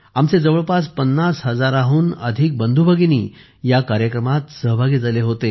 आमचे जवळपास 50 हजारांहून अधिक बंधूभगिनी या कार्यक्रमात सहभागी झाले होते